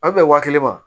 A bɛ bɛn waa kelen ma